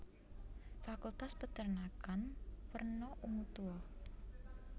Fakultas Perternakan werna ungu tua